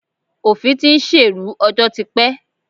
Òfin ti ń ṣèrú ọjọ́ ti pẹ́.